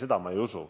Ei, seda ma ei usu.